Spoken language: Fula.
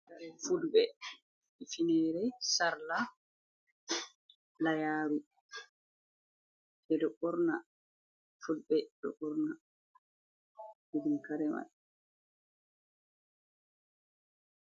Fulɓe finere sarla layaru e ɗo ɓorna fulɓe ɗo fulɓe ɗo ɓorna irin karemai.